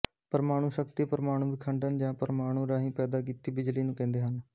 ਪਰਮਾਣੂ ਸ਼ਕਤੀ ਪਰਮਾਣੂ ਵਿਖੰਡਨ ਜਾਂ ਪਰਮਾਣੂ ਰਾਹੀਂ ਪੈਦਾ ਕੀਤੀ ਜਾਂਦੀ ਬਿਜਲੀ ਨੂੰ ਕਹਿੰਦੇ ਹਨ